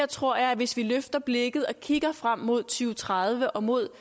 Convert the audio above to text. tror at hvis vi løfter blikket og kigger frem mod to tredive og mod